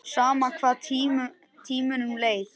Sama hvað tímanum leið.